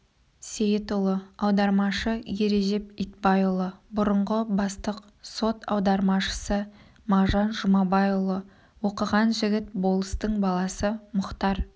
сейітұлы аудармашы ережеп итбайұлы бұрынғы бастық сот аудармашысы мағжан жұмабайұлы оқыған жігіт болыстың баласы мұхтар